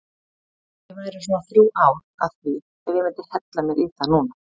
Ég væri svona þrjú ár að því ef ég myndi hella mér í það núna.